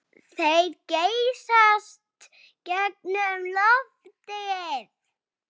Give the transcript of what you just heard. Þeir geysast gegnum loftið.